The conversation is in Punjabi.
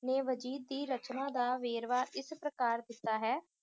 ਨੇ ਵਜੀਦ ਦੀ ਰਚਨਾ ਦਾ ਵੇਰਵਾ ਇਸ ਪ੍ਰਕਾਰ ਦਿੱਤਾ ਹੈ